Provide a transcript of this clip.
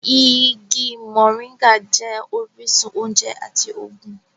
Igi moringa jẹ́ orísun oúnjẹ àti ògùn